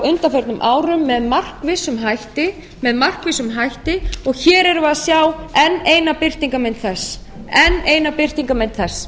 undanförnum árum með markvissum hætti og hér erum við að sjá eina birtingarmynd þess